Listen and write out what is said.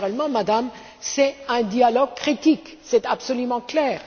Naturellement, Madame, il s'agit d'un dialogue critique, c'est absolument clair.